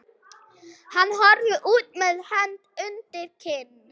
Hann horfir út með hönd undir kinn.